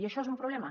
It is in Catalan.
i això és un problema